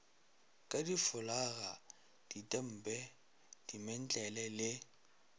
ka difolaga ditempe dimentlele le